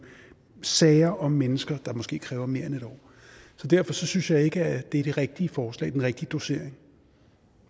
sager om mennesker der måske kræver mere end en år så derfor synes jeg ikke det er det rigtige forslag den rigtige dosering